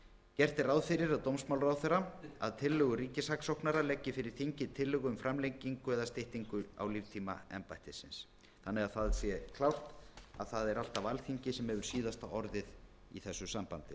gert er ráð fyrir að dómsmálaráðherra að tillögu ríkissaksóknara leggi fyrir þingið tillögu um framlengingu eða styttingu á líftíma embættisins þannig að það sé klárt að það er alltaf alþingi sem hefur síðasta orðið í þessu sambandi